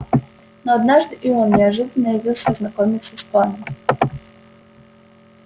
но однажды и он неожиданно явился ознакомиться с планом